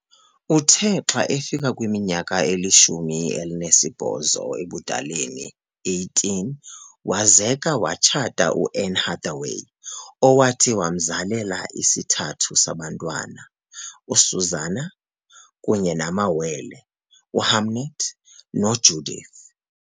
Uthe xa ekwiminyaka elishumi elinesibhoso ebudaleni, 18, wazeka - watshata u-Anne Hathaway, owathi wamzalela isithathu sabantwana - u-Susanna kunye namawele, u-Hamnet no-Judith.